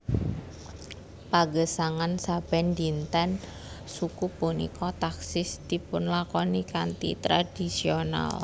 Pagesangan saben dinten suku punika taksih dipunlakoni kanthi tradhisional